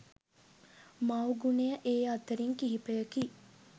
මව් ගුණය ඒ අතරින් කිහිපයකි